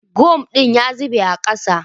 Gum din ya zube a ƙasa